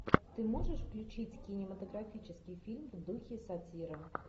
ты можешь включить кинематографический фильм в духе сатиры